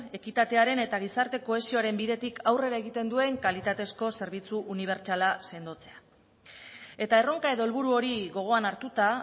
ekitatearen eta gizarte kohesioaren bidetik aurrera egiten duen kalitatezko zerbitzu unibertsala sendotzea eta erronka edo helburu hori gogoan hartuta